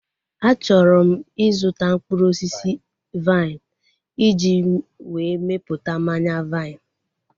A chọrọ m ịzụta mkpụrụ osisi vaịn iji wee mepụta mmanya vaịn